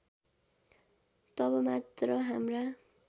तब मात्र हाम्रा